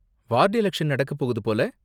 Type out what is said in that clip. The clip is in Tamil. வார்டு எலக்ஷன் நடக்கப் போகுது போல?